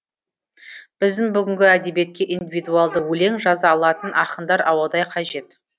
біздің бүгінгі әдебиетке индивидуалды өлең жаза алатын ақындар ауадай қажет